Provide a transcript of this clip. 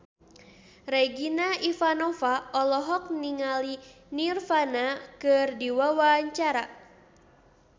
Regina Ivanova olohok ningali Nirvana keur diwawancara